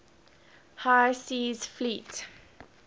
high seas fleet